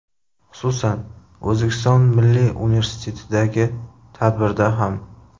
Xususan, O‘zbekiston Milliy Universitetidagi tadbirda ham.